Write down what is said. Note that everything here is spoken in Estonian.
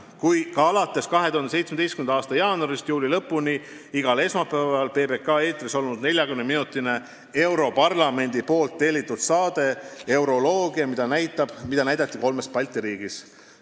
Samuti oli 2017. aasta jaanuarist juuli lõpuni igal esmaspäeval PBK eetris 40-minutine europarlamendi tellitud saade "Euroloogia", mida näidati kolmes Balti riigis.